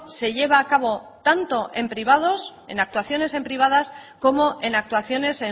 se lleva a cabo tanto en privados en actuaciones en privadas como en actuaciones